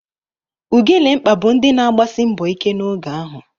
Ugelemkpa bụ ndị na-agbasi mbọ ike n'oge ahụ.